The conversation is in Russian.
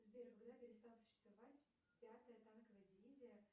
сбер когда перестала существовать пятая танковая дивизия